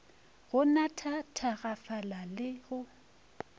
go natha thakgafala le go